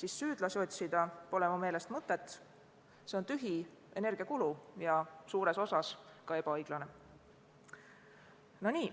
pole süüdlasi otsida minu meelest mõtet, see on tühi energiakulu ja suures osas ka ebaõiglane.